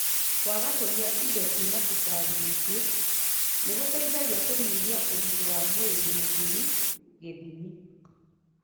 Kũaga kũnyua ĩndo cĩina cukari mwĩngi nĩ gũteithagia kũnyihia ũritũ wa mwĩri mũkiru gĩthimi.